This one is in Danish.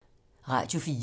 Radio 4